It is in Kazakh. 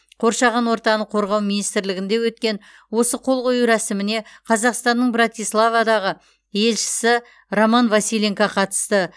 қоршаған ортаны қорғау министрлігінде өткен осы қол қою рәсіміне қазақстанның братиславадағы елшісі роман василенко қатысты